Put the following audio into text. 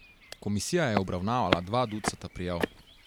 Komisija je obravnavala dva ducata prijav.